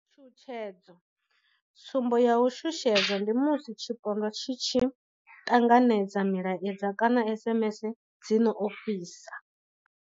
Tshutshedzo. Tsumbo ya u shushedzwa ndi musi tshipondwa tshi tshi ṱanganedza milaedza kana SMS dzi no ofhisa.